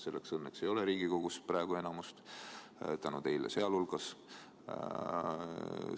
Selleks õnneks ei ole Riigikogus praegu enamust, sealhulgas tänu teile.